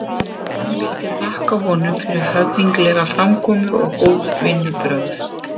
Hann vildi þakka honum fyrir höfðinglega framkomu og góð vinnubrögð.